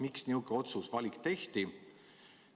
Miks niisugune valik tehti?